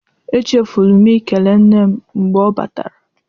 Echefuru m ikele nne m mgbe ọ batara.